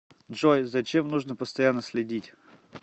джой за чем нужно постоянно следить